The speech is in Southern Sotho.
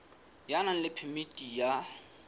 ya nang le phemiti ya